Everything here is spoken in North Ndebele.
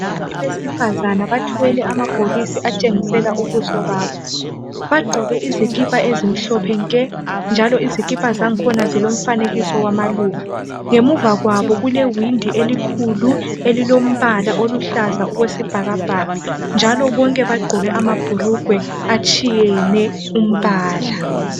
Abantu besifazane bathwele amabhokisi atshengisela ubuso babo, bagqoke izikipa ezimhlophe nke njalo izikipa zakhona zilomfanekiso wamaluba, ngemuva kwabo kule windi elikhulu elilombala oluhlaza okwesibhakabhaka njalo bonke bagqoke amabhulugwe atshiyene umbala.